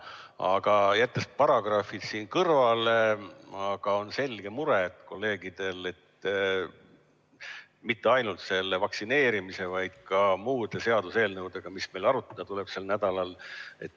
Aga jättes praegu paragrahvid kõrvale, on kolleegidel selge mure, mitte ainult vaktsineerimise teemal, vaid ka muude seaduseelnõudega, mida meil sel nädalal arutada tuleks.